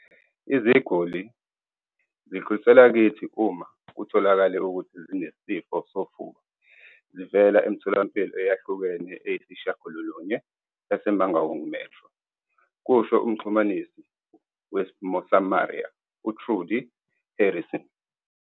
"Iziguli zidluliselwa kithi uma kutholakale ukuthi zinesifo sofuba zivela emitholampilo eyahlukene eyisishiyagalolunye yase-Mangaung Metro," kusho umxhumanisi we-Mosamaria, u-Trudie Harrison.